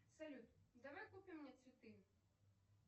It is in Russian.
салют давай купим мне цветы